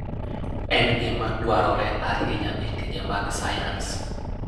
En gima dwarore ahinya e tije mag sayans.